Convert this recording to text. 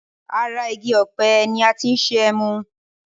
Ara igi òpe ni ati ṣe emu